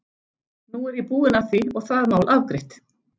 Nú er ég búinn að því og það mál afgreitt.